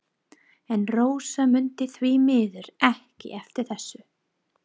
En Rósa mundi því miður ekki eftir þessu.